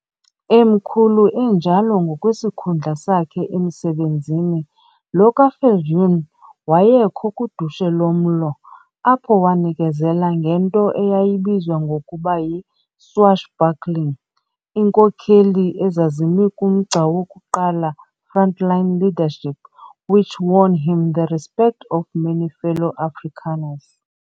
Emkhulu enjalo ngokwesikhundla sakhe emsebenzini, lo kaViljoen wayekho kudushe lomlo, apho wanikezela ngento eyayibizwa ngokuba yi"swashbuckling", iinkokheli ezazimi kumgca wokuqala front-line leadership which won him the respect of many fellow Afrikaners.